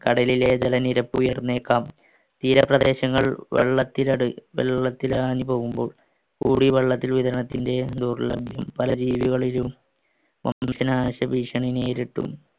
കടലിലെ ജലനിരപ്പുയർന്നേക്കാം തീരപ്രദേശങ്ങൾ പല രീതികളിലും